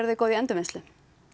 þið góð í endurvinnslu